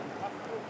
Vaxtdır?